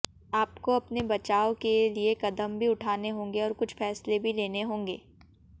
आपको अपने बचाव के लिए कदम भी उठाने होंगे और कुछ फैसले भी लेने होंगे